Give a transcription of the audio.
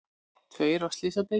Tveir á slysadeild